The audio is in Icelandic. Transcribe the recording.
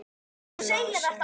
Ég óttast annan söng.